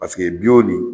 Paseke nin